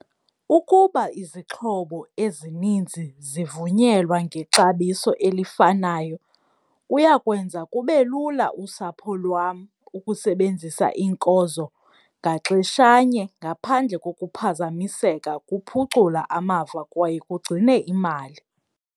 Ukuba izixhobo ezininzi zivunyelwa ngexabiso elifanayo kuya kwenza kube lula usapho lwam ukusebenzisa iinkozo ngaxeshanye ngaphandle kokuphazamiseka. Kuphucula amava kwaye kugcine imali.